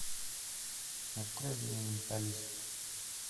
открой мне менталист